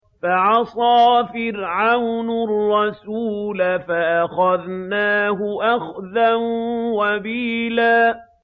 فَعَصَىٰ فِرْعَوْنُ الرَّسُولَ فَأَخَذْنَاهُ أَخْذًا وَبِيلًا